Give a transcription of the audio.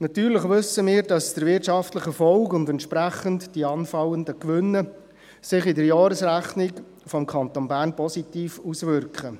Natürlich wissen wir, dass der wirtschaftliche Erfolg und entsprechend die anfallenden Gewinne sich in der Jahresrechnung des Kantons Bern positiv auswirken.